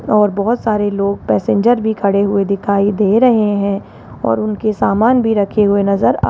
और बहोत सारे लोग पैसेंजर भी खड़े हुए दिखाई दे रहे हैं और उनके सामान भी रखे हुए नजर आ --